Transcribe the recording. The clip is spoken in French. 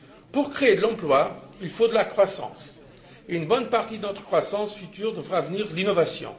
Pour créer de l'emploi, il faut de la croissance, et une bonne partie de notre croissance future devra provenir de l'innovation.